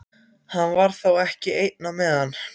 Hann var þá ekki einn á meðan.